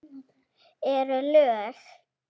Eru lög.